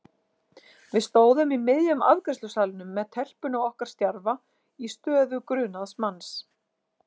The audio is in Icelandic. Við stóðum í miðjum afgreiðslusalnum með telpuna okkar stjarfa í stöðu grunaðs manns.